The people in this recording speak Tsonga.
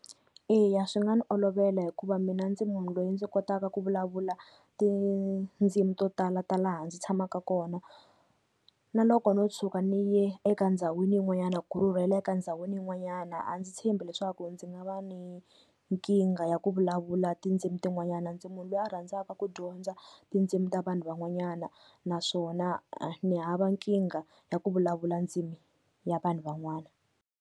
Eya swi nga ni olovela hikuva mina ndzi munhu loyi ndzi kotaka ku vulavula tindzimi to tala ta laha ndzi tshamaka kona, na loko no tshuka ni ye eka ndhawini yin'wanyana ku rhurheleka ndhawini yin'wanyana a ndzi tshembi leswaku ndzi nga va ni nkingha ya ku vulavula tindzimi tin'wanyana, ndzi munhu loyi a rhandzaka ku dyondza tindzimi ta vanhu van'wanyana naswona ni hava nkingha ya ku vulavula ndzimi ya vanhu van'wana.